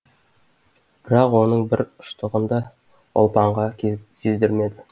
бірақ оның бір ұштығын да ұлпанға сездірмеді